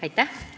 Aitäh!